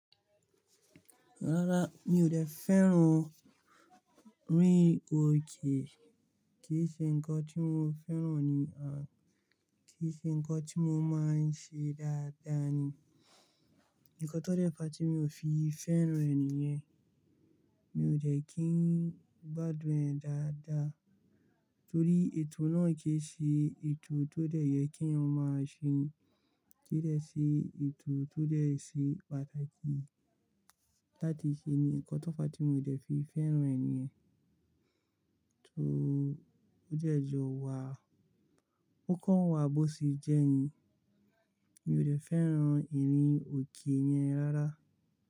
Rárá, mi ò dẹ̀ fẹ́ràn rin òkè, kìí ṣe nǹkan tí mo fẹ́ràn ni, à kí í ṣe nǹkan tí mo máa ń ṣe dáadáa ni. Ǹnkan tó dẹ̀ fa tí mi ò fi fẹ́ràn ẹ ni ìyẹn, mi ò dẹ̀ kí n gbádùn ẹ̀ dáadáa torí ètò náà kìí ṣe ètò tó dẹ̀ yẹ kí eeyan maa se ni, kìí dẹ̀ ṣe ètò tó dẹ̀ ṣe pàtàkì láti ṣe ni. Ǹnkan tó fa tí mi ò dẹ̀ fi fẹ́ràn ẹ nìyẹn, tó ó jẹ̀ jọ wa, ó kàn wà bó ṣe jẹ́ ni. Mi ò jẹ̀ fẹ́ràn orin òkè yẹn rárá.